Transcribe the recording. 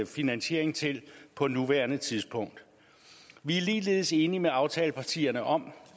finansiering til på nuværende tidspunkt vi er ligeledes enige med aftalepartierne om